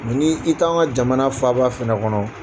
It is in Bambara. ni i t'an ka jamana faaba fɛnɛ kɔnɔ